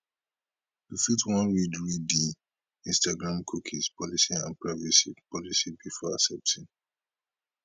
you fit wan read read di instagram cookie policy and privacy policy before accepting